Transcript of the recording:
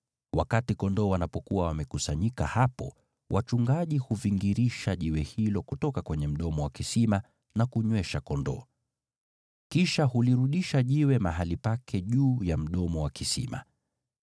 Wakati kondoo wanapokuwa wamekusanyika hapo, wachungaji huvingirisha jiwe hilo kutoka kwenye mdomo wa kisima na kunywesha kondoo. Kisha hulirudisha jiwe mahali pake juu ya mdomo wa kisima.